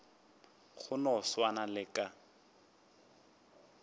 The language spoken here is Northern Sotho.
go no swana le ka